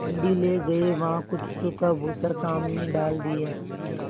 मंडी ले गये वहाँ कुछ सूखा भूसा सामने डाल दिया